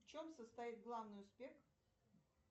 в чем состоит главный успех